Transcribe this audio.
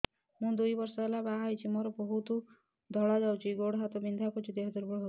ମୁ ଦୁଇ ବର୍ଷ ହେଲା ବାହା ହେଇଛି ମୋର ବହୁତ ଧଳା ଯାଉଛି ଗୋଡ଼ ହାତ ବିନ୍ଧା କରୁଛି ଦେହ ଦୁର୍ବଳ ହଉଛି